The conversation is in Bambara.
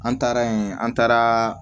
An taara yen an taara